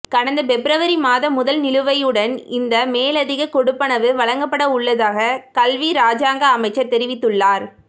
கடந்த பெப்ரவரி மாதமுதல் நிலுவையுடன் இந்த மேலதிக கொடுப்பனவு வழங்கப்படவுள்ளதாக கல்வி இராஜாங்க அமைச்சர் தெரிவித்துள்ளார்